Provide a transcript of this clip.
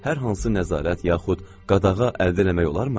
Hər hansı nəzarət yaxud qadağa əldə eləmək olarmı?